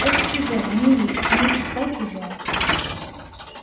это чужое не ильи но и пускай чужое